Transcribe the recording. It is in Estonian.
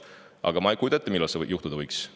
Aga ma ei kujuta ette, millal see juhtuda võiks.